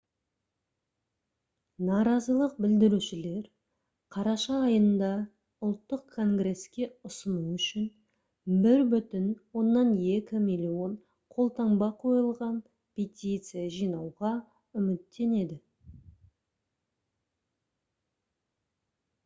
наразылық білдірушілер қараша айында ұлттық конгреске ұсыну үшін 1,2 миллион қолтаңба қойылған петиция жинауға үміттенеді